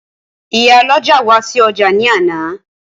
Ìyálọ́jà wá sí ọjà ní àná